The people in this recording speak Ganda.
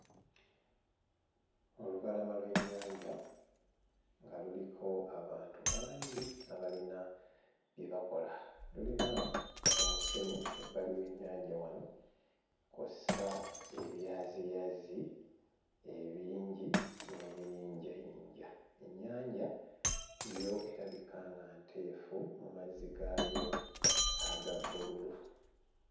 Olubalama lw'ennyanja nga luliko abantu bangi abalina bye bakola lulina omusenyu ebbali w'ennyanja wano kw'ossa ebyaziyazi ebingi n'ebiyinjayinja ennyanja yo erabika nga nteefu mu mazzi gaayo aga bbululu.